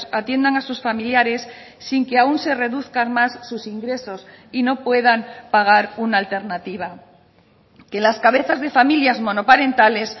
atiendan a sus familiares sin que aún se reduzcan más sus ingresos y no puedan pagar una alternativa que las cabezas de familias monoparentales